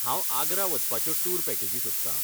हांव आग्रा वचपाच्यो टूर पॅकेजी सोदतां.